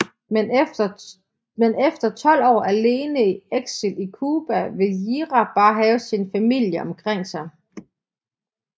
Men efter 12 år alene i eksil i Cuba vil Yira bare have sin familie omkring sig